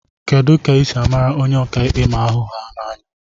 Kedu ka esi mara onye ọka ikpe ma ahu ha na anya